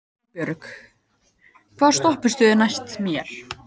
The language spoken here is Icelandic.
Vinbjörg, hvaða stoppistöð er næst mér?